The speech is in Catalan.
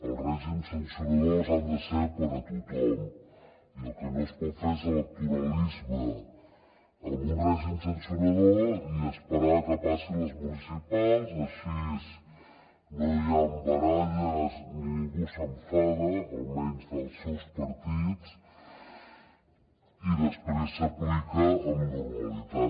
els règims sancionadors han de ser per a tothom i el que no es pot fer és electoralisme amb un règim sancionador i esperar que passin les municipals així no hi han baralles ni ningú s’enfada almenys dels seus partits i després s’aplica amb normalitat